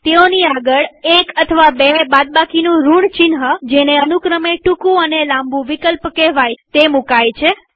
તેઓની આગળ એક અથવા બે બાદબાકીનું ઋણ ચિહ્નજેને અનુક્રમે ટુકું અને લાંબુ વિકલ્પ કેહવાય છે તે મુકાય છે